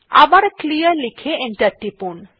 আবার ক্লিয়ার লিখে এন্টার টিপুন